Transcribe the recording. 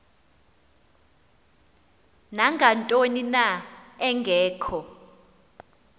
nangantoni na engekho